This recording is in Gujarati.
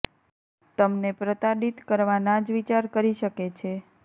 તમને પ્રતાડિત કરવા ના જ વિચાર કરી શકે છે